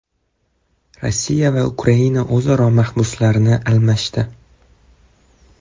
Rossiya va Ukraina o‘zaro mahbuslarni almashdi.